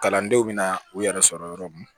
Kalandenw bɛ na u yɛrɛ sɔrɔ yɔrɔ min na